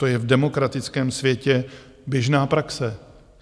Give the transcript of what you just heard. To je v demokratickém světě běžná praxe.